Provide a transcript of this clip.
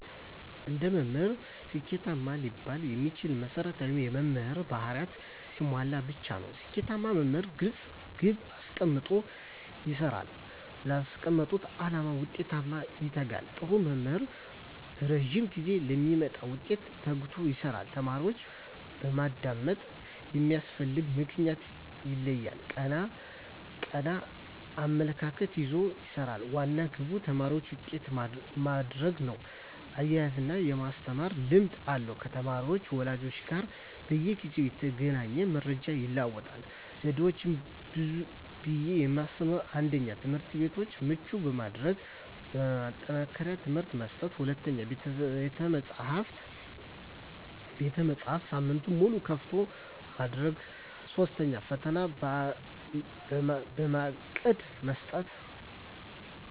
አንድ መምህር ስኬታማ ሊባል የሚችለው መሰረታዊ የመምህር ባህርያትን ሲያሟላ ብቻ ነው። ስኬታማ መምህር ግልፅ ግብ አስቀምጦ ይሰራል: ላስቀመጠው አላማ ውጤታማነት ይተጋል, ጥሩ መምህር በረዥም ጊዜ ለሚመጣ ውጤት ተግቶ ይሰራል። ተማሪዎችን በማዳመጥ የሚያስፈልግበትን ምክንያት ይለያል ,ቀና አመለካከት ይዞ ይሰራል, ዋና ግቡ ተማሪዎችን ውጤታማ ማድረግ ነው እያዝናና የማስተማር ልምድ አለው ከተማሪ ወላጆች ጋር በየጊዜው እየተገናኘ መረጃ ይለዋወጣል። ዘዴዎች ብዬ የማስበው 1ኛ, ትምህርትቤቶችን ምቹ በማድረግ ማጠናከሪያ ትምህርት መስጠት 2ኛ, ቤተመፅሀፍትን ሳምንቱን ሙሉ ክፍት ማድረግ 3ኛ, ፈተና በእቅድ መስጠት።